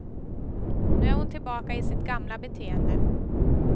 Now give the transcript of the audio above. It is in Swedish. Nu är hon tillbaka i sitt gamla beteende.